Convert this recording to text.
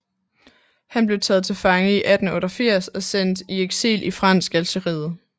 Han blev taget til fange i 1888 og sendt i eksil i Fransk Algeriet